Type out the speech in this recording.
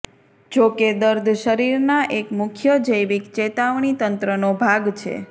જો કે દર્દ શરીરના એક મુખ્ય જૈવિક ચેતાવણી તંત્રનો ભાગ છે